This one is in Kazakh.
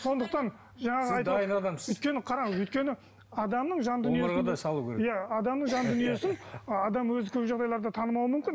сондықтан жаңағы сіз дайын адамсыз өйткені қараңыз өйткені адамның жан дүниесі иә адамның жан дүниесін адам өзі көп жағдайларда танымауы мүмкін